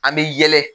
An bɛ yɛlɛ